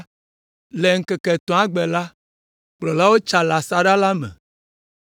Le ŋkeke etɔ̃lia gbe la, kplɔlawo tsa le asaɖa la me,